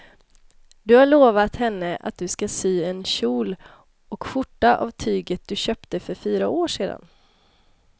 Du har lovat henne att du ska sy en kjol och skjorta av tyget du köpte för fyra år sedan.